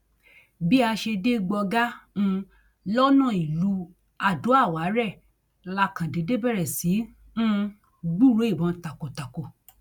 bá a ṣe dé gbọgá um lọnà ìlú adóàwárẹ̀ la kàn déédé bẹrẹ sí í um gbúròó ìbọn takọtako